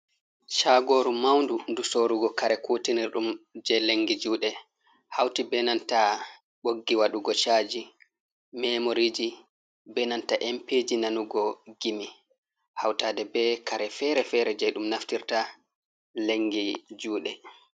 Shagoru maundu du sorugo kare kutinir ɗum je lengi juɗe, hauti be nanta ɓoggi waɗugo chaji, memoriji, be nanta empiji nanugo gimi, hautade be kare feere-feere je ɗum naftirta lengi juɗe.